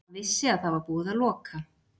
Hann vissi að það var búið að loka